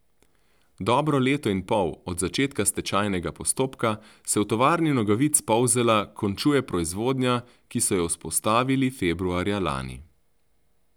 Dobro leto in pol od začetka stečajnega postopka se v Tovarni nogavic Polzela končuje proizvodnja, ki so jo vzpostavili februarja lani.